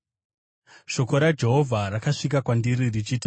Shoko raJehovha rakasvika kwandiri richiti,